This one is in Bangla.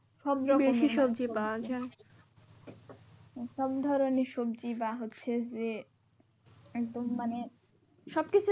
বেশি সবজি পাওয়া যাই সবধরণের সবজি বা হচ্ছে যে একদম মানে সবকিছুই